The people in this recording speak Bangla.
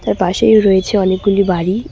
এর পাশেই রয়েছে অনেকগুলি বাড়ি।